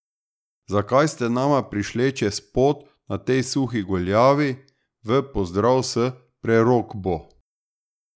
Zakaj ste nama prišle čez pot na tej suhi goljavi, v pozdrav s prerokbo?